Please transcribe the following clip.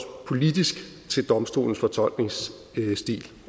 politisk til domstolens fortolkningsstil